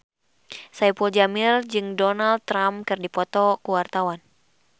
Saipul Jamil jeung Donald Trump keur dipoto ku wartawan